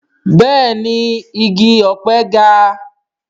Bẹ́ẹ̀ni igi ọ̀pẹ ga